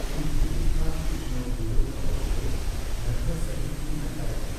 ᱤᱧ ᱦᱤᱡᱩᱜᱠᱟᱱ ᱩᱛᱱᱟᱹᱣᱟᱱ ᱵᱤᱰᱟᱹᱣ ᱵᱟᱵᱚᱫᱛᱮ ᱱᱟᱨᱵᱷᱟᱥ ᱥᱟᱹᱦᱤᱡ ᱤᱧ ᱟᱴᱠᱟᱨ ᱮᱫᱟ ᱾